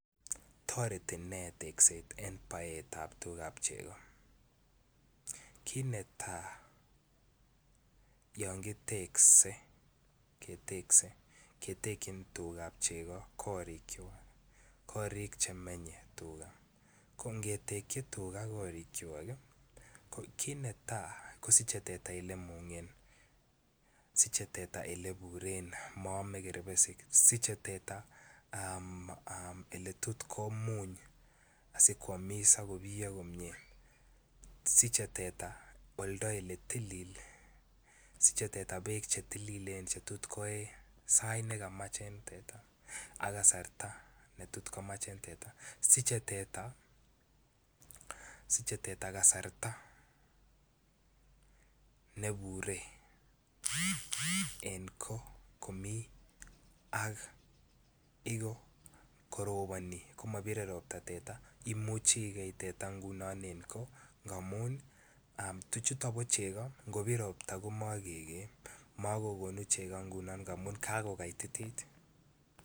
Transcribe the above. Toreti ne tekset en baetab tugab chego kit neta yon kitekse ketekyin tugab chego korik chemenye ko angetekyi tuga korikwak ii kit netai kosiche teta Ole iburen siche teta Ole imungen moome kerbesik siche teta Ole tot komuny si koamis ak kobiyo komie siche oldo Ole tilil siche teta bek Che tililen Che tot koe sait nekamach ak kasarta ne tot komach koe siche teta kasarta ne Bure en goo komi ak igok koroboni komabire Ropta teta imuche igei teta en goo tuchuto ngobir Ropta komagonu chego ngunon amun kagokaitit